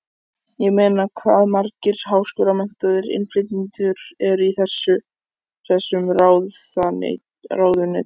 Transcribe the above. Ég meina hvað margir háskólamenntaðir innflytjendur eru í þessum ráðuneytum?